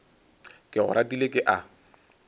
ke go ratile ke a